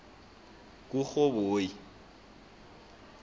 kurhoboyi